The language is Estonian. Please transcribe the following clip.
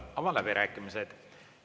Avan läbirääkimised.